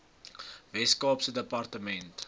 wes kaapse departement